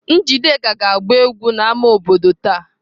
Njideka ga-agba egwu n'ámá obodo taa.